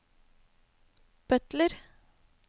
butler